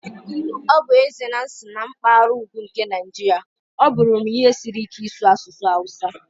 Ọ bụ ezie na m si na mpaghara ugwu nke Nigeria, ọ bụrụ m ihe siri ike ịsu asụsụ Hausa.